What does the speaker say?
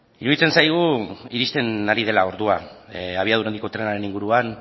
iruditzen zaigu iristen ari dela ordua abiadura handiko trenaren inguruan